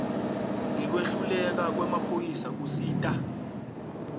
ngekwehluleka kwemaphoyisa kusita